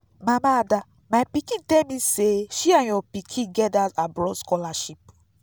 mama ada my pikin tell me say she and your pikin get dat abroad scholarship